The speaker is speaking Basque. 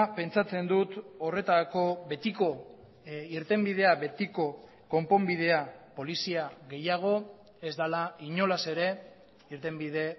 pentsatzen dut horretarako betiko irtenbidea betiko konponbidea polizia gehiago ez dela inolaz ere irtenbide